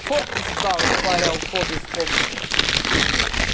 фокус ждал их паря у входа из комнаты